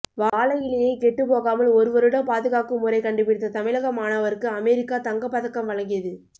வாழை இலையை கெட்டுப்போகாமல் ஒரு வருடம் பாதுகாக்கும் முறை கண்டுபிடித்த தமிழக மாணவருக்கு அமெரிக்கா தங்கப்பதக்கம் வழங்கியது